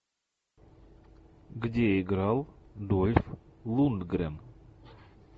где играл дольф лундгрен